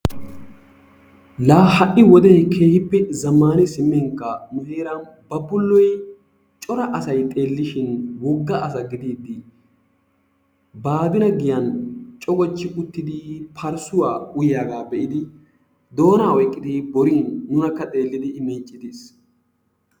Laa ha"i wodee keehippe zammani simminkka nu heeran Babbulloy cora asay xeellishin wogga asa gidiiddi baadine giyan cogochchi uttidi parssuwa uyiyagaa be'idi doonaa oyqqidi borin, nunaka. xeellidi I miiccides.